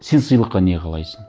сен сыйлыққа не қалайсың